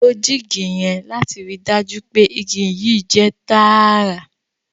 ló jig yen lati ríi dájú pé ìgi yii jẹ tààrà